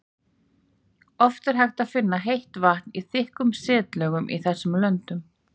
Oft er hægt að finna heitt vatn í þykkum setlögum í þessum löndum.